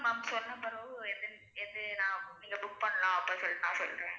சொல்லுங்க ma'am சொன்ன பிரவு எது நான் நீங்க book பண்ணலாம் நான் அப்ப சொல் சொல்றேன்.